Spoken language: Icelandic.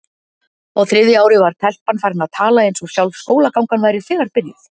Á þriðja ári var telpan farin að tala eins og sjálf skólagangan væri þegar byrjuð.